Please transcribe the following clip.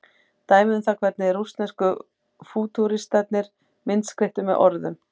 Dæmi um það hvernig rússnesku fútúristarnir myndskreyttu með orðum.